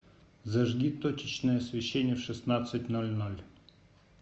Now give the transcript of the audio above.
зажги точечное освещение в шестнадцать ноль ноль